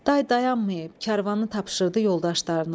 Day dayanmayıb karvanı tapşırdı yoldaşlarına.